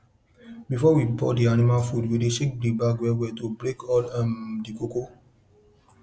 before we pour di animal food we dey shake di bag wellwell to break all um di kpokpo